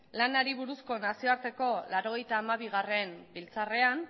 lanari buruzko nazioarteko laurogeita hamabi biltzarrean